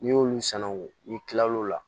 N'i y'olu sanangon n'i kila l'o la